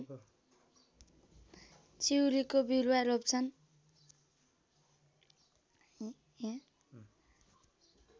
चिउरीको बिरुवा रोप्छन्